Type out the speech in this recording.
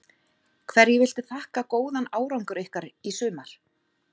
Hverju viltu þakka góðan árangur ykkar í sumar?